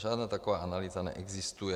Žádná taková analýza neexistuje.